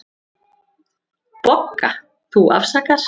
BOGGA: Þú afsakar.